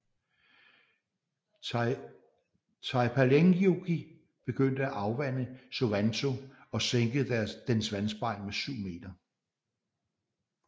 Taipaleenjoki begyndte at afvande Suvanto og sænkede dens vandspejl med 7 meter